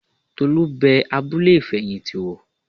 Tolú bẹ abúlé ìfẹ̀yìntì wò